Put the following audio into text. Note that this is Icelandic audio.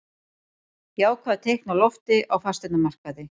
Jákvæð teikn á lofti á fasteignamarkaði